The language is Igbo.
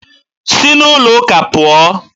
Si n'ụlọụka a pụọ!